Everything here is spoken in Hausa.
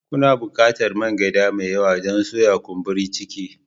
Kuna buƙatar man gyada mai yawa don soya kumburi ciki